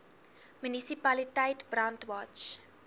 munisipaliteit brandwatch